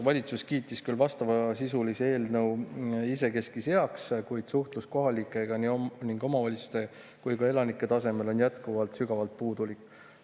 Valitsus kiitis küll vastavasisulise eelnõu isekeskis heaks, kuid suhtlus kohalikega nii omavalitsuste kui ka elanike tasemele on jätkuvalt sügavalt puudulik.